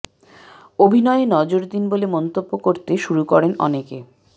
অভিনয়ে নজর দিন বলে মন্তব্য করতে শুরু করেন অনেকে